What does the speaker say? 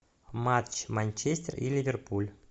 матч манчестер и ливерпуль